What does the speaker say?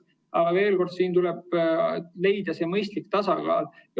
Aga veel kord: siin tuleb leida mõistlik tasakaal.